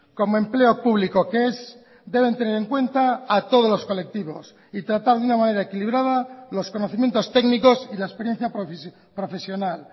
como empleo público que es deben tener en cuenta a todos los colectivos y tratar de una manera equilibrada los conocimientos técnicos y la experiencia profesional